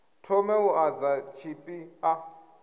thome u ḓadza tshipi ḓa